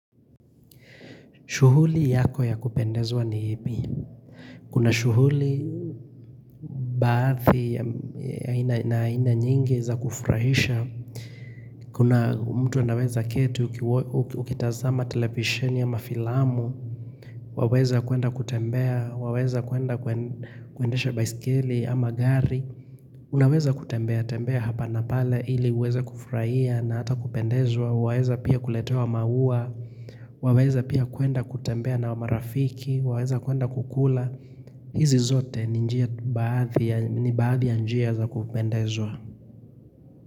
Shughuli yako ya kupendezwa ni ipi. Kuna shughuli baadhi na aina nyingi za kufurahisha. Kuna mtu anaweza keti ukitazama televisheni ama filamu, waweza kuenda kutembea, waweza kuenda kuendesha baiskeli ama gari. Unaweza kutembea tembea hapa napale ili uweza kufurahia na hata kupendezwa waweza pia kuletewa maua waweza pia kuenda kutembea na wa marafiki waweza kuenda kukula hizi zote ni njia baadhi ya njia za kupendezwa.